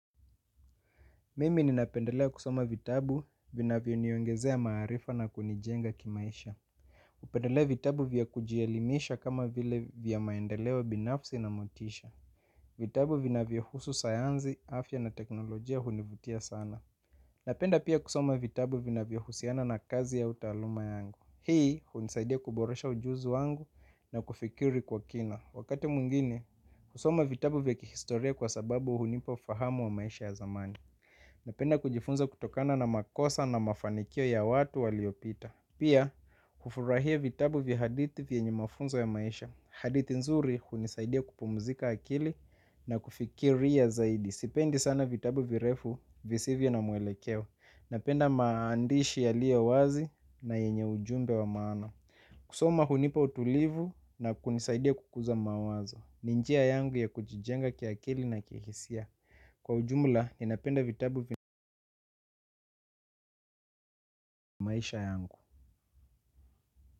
Mimi ninapendelea kusoma vitabu vina vyoniongezea maarifa na kunijenga kimaisha pendelea vitabu vya kujielimisha kama vile vya maendeleo binafsi na motisha. Vitabu vina vyo husu sayanzi, afya na teknolojia hunivutia sana. Napenda pia kusoma vitabu vina vyo husiana na kazi au taaluma yangu. Hii hunisaidia kuboresha ujuzi wangu na kufikiri kwa kina. Wakati mwingine husoma vitabu vya kihistoria kwa sababu hunipa fahamu wa maisha ya zamani napenda kujifunza kutokana namakosa na mafanikio ya watu waliopita. Pia, kufurahia vitabu vya hadithi vye nye mafunzo ya maisha. Hadithi nzuri hunisaidia kupumzika akili na kufikiria zaidi. Sipendi sana vitabu virefu visivyo na muelekeo. Napenda maandishi yaliyo wazi na yenye ujumbe wa maana. Kusoma hunipa utulivu na kunisaidia kukuza mawazo. Ninjia yangu ya kujijenga kiakili na kihisia. Kwa ujumula ninapenda vitabu vi maisha yangu.